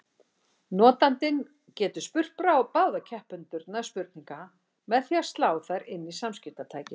Notandinn getur spurt báða keppendurna spurninga með því að slá þær inn í samskiptatækið.